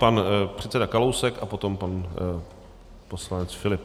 Pan předseda Kalousek a potom pan poslanec Filip.